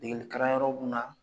Degelikalanyɔrɔ mun na.